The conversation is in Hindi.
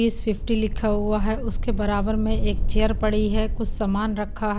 इस पिफ्टी लिखा हुआ हे उसके बराबर में एक चेयर पड़ी हे कुछ सामान रखा --